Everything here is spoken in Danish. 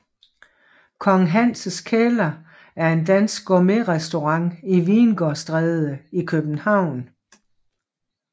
Kong Hans Kælder er en dansk gourmetrestaurant i Vingårdstræde i København